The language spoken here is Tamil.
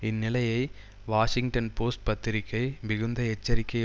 இந்நிலையை வாஷிங்டன் போஸ்ட் பத்திரிகை மிகுந்த எச்சரிக்கை